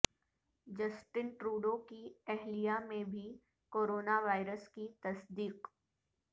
Justin Trudeau کی اہلیہ میں بھی کورونا وائرس کی تصدیق